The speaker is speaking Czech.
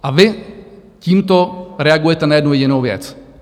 A vy tímto reagujete na jednu jedinou věc.